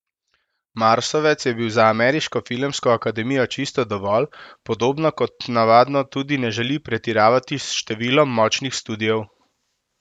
Marsovec je bil za Ameriško filmsko akademijo čisto dovolj, podobno kot navadno tudi ne želi pretiravati s številom močnih studiev.